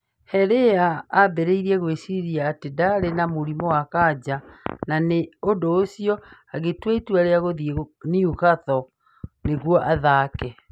Hellyar aambire gwĩciria atĩ ndaarĩ na mũrimũ wa kansa na nĩ ũndũ ũcio agĩtua itua rĩa gũthiĩ Newcastle nĩguo athake.